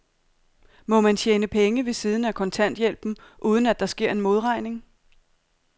Må man tjene penge ved siden af kontanthjælpen, uden at der sker en modregning?